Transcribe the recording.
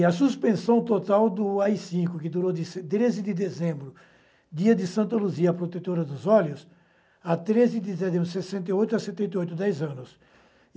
e a suspensão total do á i-cinco, que durou de treze de dezembro, dia de Santa Luzia, a protetora dos olhos, a treze de setembro, sessenta e oito a setenta e oito, dez anos.